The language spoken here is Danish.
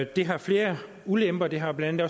det har flere ulemper det har blandt